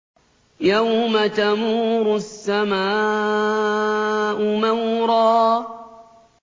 يَوْمَ تَمُورُ السَّمَاءُ مَوْرًا